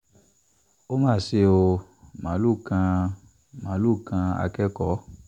ó mà ṣe ò máàlùú kan máàlùú kan akẹ́kọ̀ọ́